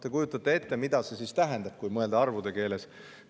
Te kujutate ette, mida see siis tähendab, kui mõelda arvude keeles.